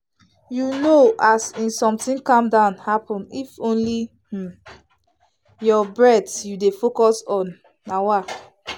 you know as in something calm down happen if na only um your breath you dey focus on. um